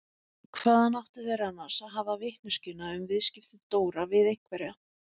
Hvaðan áttu þeir annars að hafa vitneskjuna um viðskipti Dóra við einhverja?